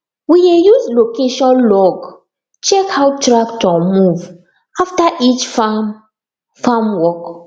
we dey use location log check how tractor move after each farm farm work